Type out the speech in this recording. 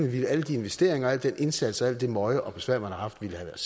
ville alle de investeringer og al den indsats og alt det møje og besvær man har haft have